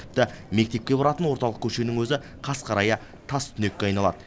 тіпті мектепке баратын орталық көшенің өзі қас қарая тас түнекке айналады